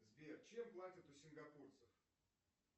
сбер чем платят у сингапурцев